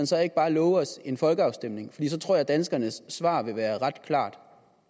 så ikke bare love os en folkeafstemning for så tror jeg at danskerne svar vil være ret klart